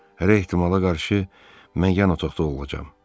Hər ehtimala qarşı mən yan otaqda olacam.